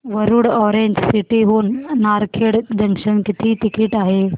Warud orange city हून Narkhed junction किती ticket आहे